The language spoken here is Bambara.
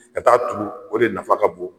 Ka taa turu o de nafa ka bon